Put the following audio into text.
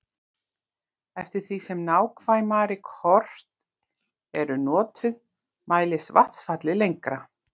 eftir því sem nákvæmari kort eru notuð mælist vatnsfallið lengra